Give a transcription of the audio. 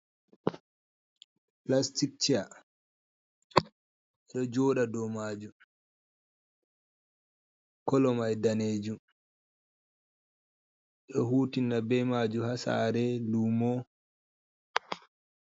Plastic ceya. do joda do maju, colomai danejum.D hutina be maju ha sare, lumo.